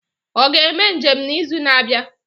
Ọ ga-eme njem n'izu na-abịa?